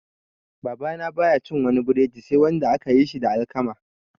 Babana baya cin wani breadi sai wanda aka yi da alkama